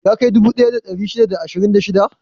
Ya kai dubu ɗaya da ɗari shida da ashirin da shida?